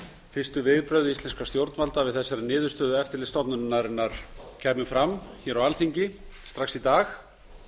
fyrstu viðbrögð íslenskra stjórnvalda við þessari niðurstöðu eftirlitsstofnunarinnar kæmu fram á alþingi strax í dag